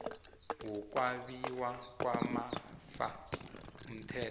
wokwabiwa kwamafa umthetho